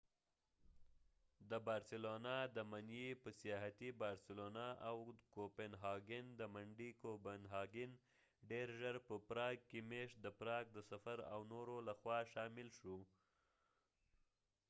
د بارسلونا د من ې په سیاحتی بارسلونا او د کوپنهاګن د منډې کوپنهاګن ډیر ژر په پراګ کې میشت د پراګ د سفر او نورو لخوا شامل شو